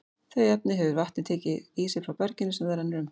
Þau efni hefur vatnið tekið í sig frá berginu sem það rennur um.